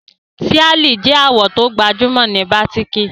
Tíàlì je àwò to gbajúmò ni batiki